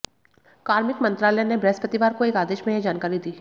कार्मिक मंत्रालय ने बृहस्पतिवार को एक आदेश में यह जानकारी दी